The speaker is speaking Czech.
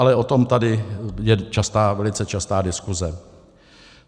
Ale o tom je tady velice častá diskuze.